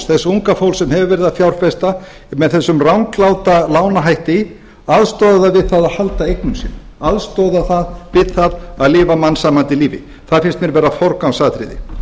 þess unga fólks sem hefur verið að fjárfesta með þessum rangláta lánahætti aðstoða það við það að halda eignum sínum aðstoða það við það að lifa mannsæmandi lífi það finnst mér vera forgangsatriði